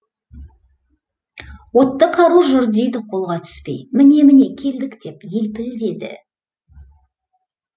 отты қару жүр дейді қолға түспей міне міне келдік деп елпілдеді